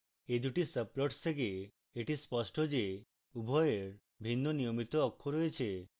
এই দুটি সাবপ্লটস থেকে এটি স্পষ্ট যে উভয়ের ভিন্ন নিয়মিত অক্ষ রয়েছে